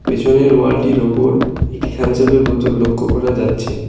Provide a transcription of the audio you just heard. পিছনের ওয়াল -টির ওপর একটি থামসাপ - এর বোতল লক্ষ করা যাচ্ছে।